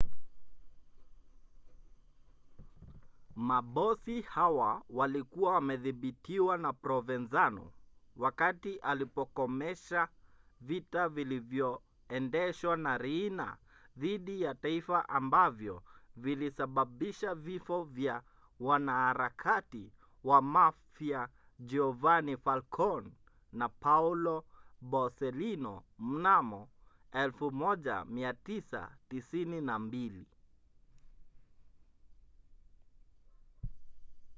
mabosi hawa walikuwa wamedhibitiwa na provenzano wakati alipokomesha vita vilivyoendeshwa na riina dhidi ya taifa ambavyo vilisababisha vifo vya wanaharakati wa mafia giovanni falcone na paolo borsellino mnamo 1992.